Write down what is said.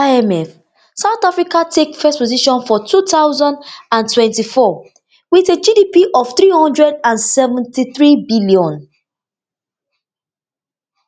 according to imf south africa take first position for two thousand and twenty-four wit a gdp of three hundred and seventy-three billion